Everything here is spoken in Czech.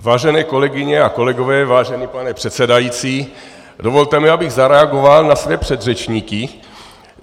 Vážené kolegyně a kolegové, vážený pane předsedající, dovolte mi, abych zareagoval na své předřečníky.